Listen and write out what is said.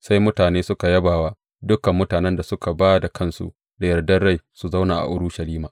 Sai mutane suka yaba wa dukan mutanen da suka ba da kansu da yardar rai su zauna a Urushalima.